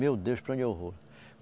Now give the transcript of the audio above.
Meu Deus, para onde eu vou?